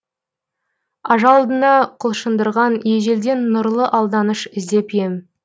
ажалдыны құлшындырған ежелден нұрлы алданыш іздеп ем